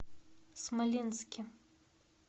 смоленске